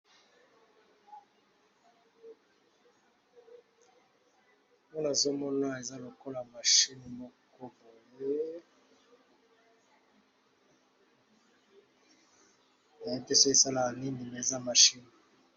Nazo mona awa eza lokola machine moko na yebi te soki e salaka nini mais eza machine .